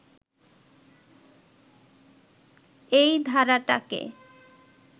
এই ধারাটাকে